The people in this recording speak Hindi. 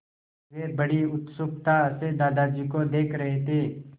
वे बड़ी उत्सुकता से दादाजी को देख रहे थे